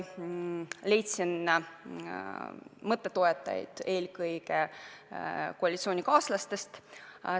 Leidsin mõtte toetajaid eelkõige koalitsioonikaaslaste seast.